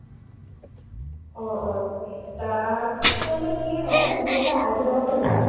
অ, অ। তাত মানে কি হয়, তুমি এটা ID লগাব লাগিব।